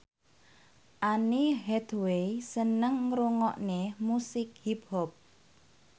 Anne Hathaway seneng ngrungokne musik hip hop